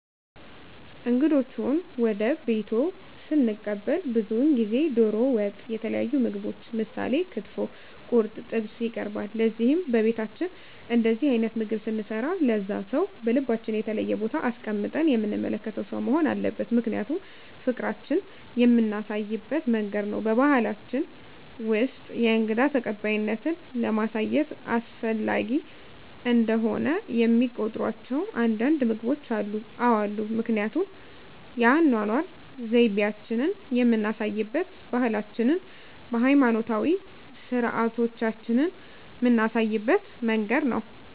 እንግዶችዎን ወደ ቤትዎ ስንቀበል ብዙውን ጊዜ ደሮ ወጥ የተለያዩ ምግቦች ምሳሌ ክትፎ ቁርጥ ጥብስ ይቀርባል ለዚህም በቤታችን እንደዚህ አይነት ምግብ ስንሰራ ለዛ ሰው በልባችን የተለየ ቦታ አስቀምጠን የምንመለከተው ሰው መሆን አለበት ምክንያቱም ፍቅራችን የምናሳይበት መንገድ ነው በባሕላችን ውስጥ የእንግዳ ተቀባይነትን ለማሳየት አስፈላጊ እንደሆነ የሚቆጥሯቸው አንዳንድ ምግቦች አሉ? አዎ አሉ ምክንያቱም የአኗኗር ዘይቤአችንን የምናሳይበት ባህላችንን ሀይማኖታዊ ስርአቶቻችንን ምናሳይበት መንገድ ነው